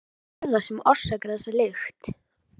En hvað er það sem orsakar þessa lykt?